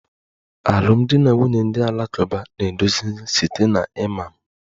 A Muslim alụmdi na nwunye na-eduzi site na imam